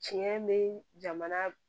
Tiɲɛ be jamana